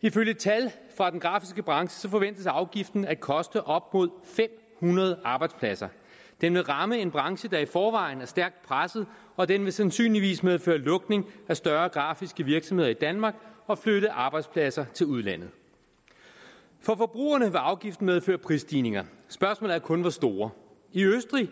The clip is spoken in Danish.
ifølge tal fra den grafiske branche forventes afgiften at koste op mod fem hundrede arbejdspladser den vil ramme en branche der i forvejen er stærkt presset og den vil sandsynligvis medføre lukning af større grafiske virksomheder i danmark og flytte arbejdspladser til udlandet for forbrugerne vil afgiften medføre prisstigninger spørgsmålet er kun hvor store i østrig